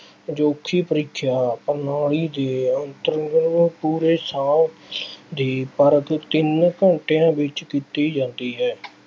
ਅਜੋਕੀ ਪ੍ਰੀਖਿਆ ਪ੍ਰਣਾਲੀ ਦੇ ਅੰਤਰਗਤ ਪੂਰੇ ਸਾਲ ਦੀ ਪਰਖ ਤਿੰਨ ਘੰਟਿਆਂ ਵਿੱਚ ਕੀਤੀ ਜਾਂਦੀ ਹੈ।